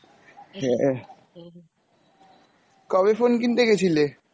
হ্যাঁ, কবে phone কিনতে গেছিলে?